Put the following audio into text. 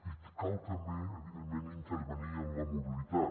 i cal també evidentment intervenir en la mobilitat